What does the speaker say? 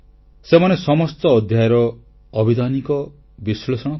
ସେମାନେ ସମସ୍ତ ଅଧ୍ୟାୟର ଆଭିଧାନିକ ବିଶ୍ଳେଷଣ କଲେ